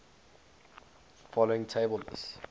following table lists